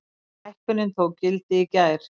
Hækkunin tók gildi í gær.